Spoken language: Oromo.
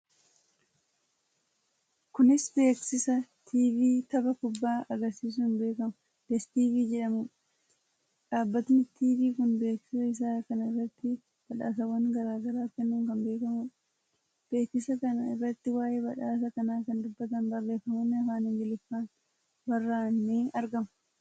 Kuni beeksiisa tiivii tapha kubbaa agarsiiisuun beekamu DStv jedhamuudha. Dhaabbanni tiivii kun beeksisa isaa kana irratti badhaasawwan garaa garaa kennuun kan beekamuudha. beeksiisa kana irratti waa'ee badhaasa kanaa kan dubbatan barreefamonni afaan Amaariffaan barraa'an ni argamu.